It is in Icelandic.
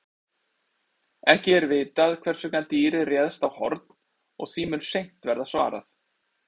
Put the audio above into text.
Ekki er vitað hvers vegna dýrið réðst á Horn og því mun seint verða svarað.